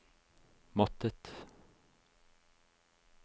måttet